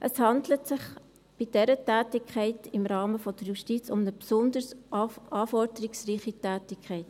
Es handelt sich bei dieser Tätigkeit im Rahmen der Justiz um eine besonders anforderungsreiche Tätigkeit.